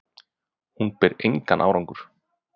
Hún bar engan árangur